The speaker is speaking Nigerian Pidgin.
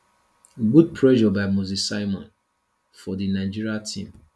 good pressure by moses simon for di nigeria team